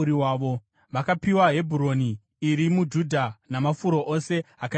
Vakapiwa Hebhuroni iri muJudha namafuro ose akaipoteredza.